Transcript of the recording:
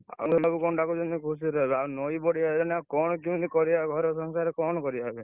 ନଈ ବଢି ଆଇଲାଣି କଣ କେମିତି କରିଆ ଘର ସଂସାର କଣ କରିଆ ଆଉ?